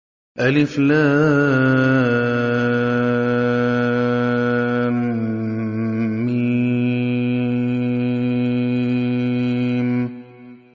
الم